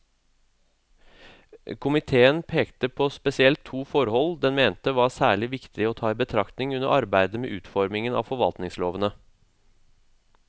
Komiteen pekte på spesielt to forhold den mente var særlig viktig å ta i betraktning under arbeidet med utformingen av forvaltningslovene.